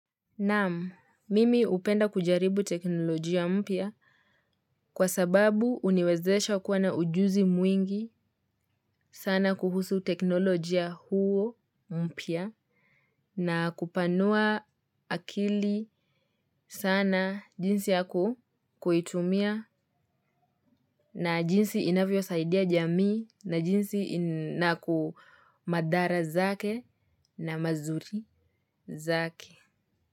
Naam, mimi hupenda kujaribu teknolojia mpya kwa sababu huniwezesha kuwa na ujuzi mwingi sana kuhusu teknolojia huo mpya na kupanua akili sana jinsi ya kuitumia na jinsi inavyosaidia jamii na jinsi naku mathara zake na mazuri zake.